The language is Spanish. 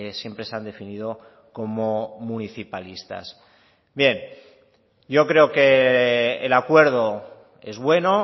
siempre se han definido como municipalistas bien yo creo que el acuerdo es bueno